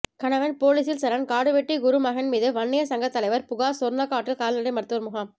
கணவன் ேபாலீசில் சரண் காடுவெட்டி குரு மகன் மீது வன்னியர் சங்க தலைவர் புகார் சொர்ணக்காட்டில் கால்நடை மருத்துவ முகாம்